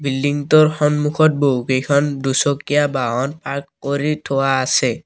বিল্ডিংটোৰ সন্মুখত বহুকেইখন দুচকীয়া বাহন পাৰ্ক কৰি থোৱা আছে।